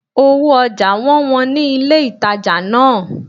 Owó ojà won wón ni ilé ìtajà náà